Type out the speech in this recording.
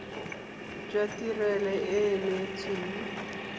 jwa tirelo e e neetsweng